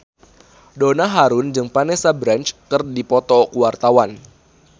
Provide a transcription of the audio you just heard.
Donna Harun jeung Vanessa Branch keur dipoto ku wartawan